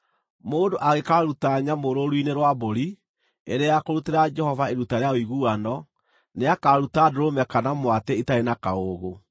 “ ‘Mũndũ angĩkaaruta nyamũ rũũru-inĩ rwa mbũri, ĩrĩ ya kũrutĩra Jehova iruta rĩa ũiguano, nĩakaruta ndũrũme kana mwatĩ itarĩ na kaũũgũ.